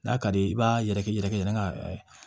N'a ka di i b'a yɛrɛkɛ i yɛrɛ kɛ